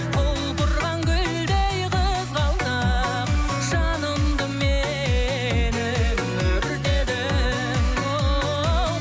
құлпырған гүлдей қызғалдақ жанымды менің өртедің оу